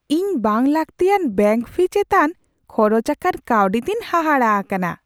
ᱤᱧ ᱵᱟᱝᱼᱞᱟᱹᱠᱛᱤᱭᱟᱱ bank fee ᱪᱮᱛᱟᱱ ᱠᱷᱚᱨᱚᱪ ᱟᱠᱟᱱ ᱠᱟᱹᱣᱰᱤ ᱛᱮᱧ ᱦᱟᱦᱟᱲᱟ ᱟᱠᱟᱱᱟ ᱾